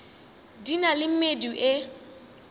di na le medu e